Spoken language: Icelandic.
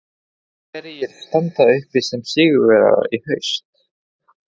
Hverjir standa uppi sem sigurvegarar í haust?